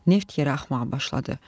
Neft yerə axmağa başladı.